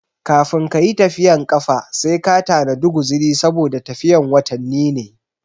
Kafin kayi tafiyan kafa sai ka tanadi guziri saboda tafiyan watanni ne